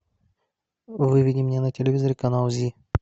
выведи мне на телевизоре канал зи